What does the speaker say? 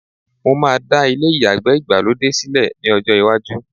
mo máa dá ilé ìyàgbẹ́ Ìgbàlódé sílẹ ní ọjọ lwaju